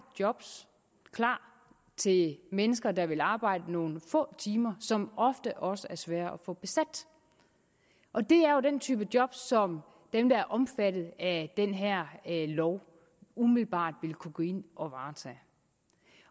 job klar til mennesker der vil arbejde nogle få timer som ofte også er svære at få besat og det er jo den type job som dem der er omfattet af den her lov umiddelbart ville kunne gå ind